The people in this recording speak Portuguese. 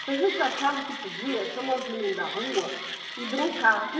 Então, a gente achava que podia chamar os meninos da rua e brincar.